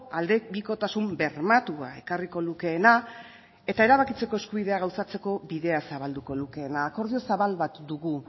aldebikotasun bermatua ekarriko lukeena eta erabakitzeko eskubidea gauzatzeko bidea zabalduko lukeena akordio zabal bat dugu